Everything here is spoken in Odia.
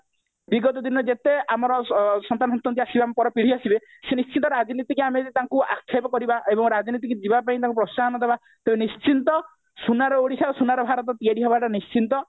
ବିଗତ ଦିନର ଯେତେ ଆମର ସନ୍ତାନ ସନ୍ତତି ଆସିବେ ଆମ ପର ପିଢି ଆସିବେ ସେ ନିଶ୍ଚିତ ରାଜନୀତିକୁ ଆମେ ଯଦି ତାଙ୍କୁ ଆକ୍ଷେପ କରିବା ଏବଂ ରାଜନୀତିକୁ ଯିବା ପାଇଁ ଆମେ ତାଙ୍କୁ ପ୍ରୋସାହନ ଦବା ତେବେ ନିଶ୍ଚିନ୍ତ ସୁନାର ଓଡିଶା ଓ ସୁନାର ଭାରତ ତିଆରି ହବା ଟା ନିଶ୍ଚିନ୍ତ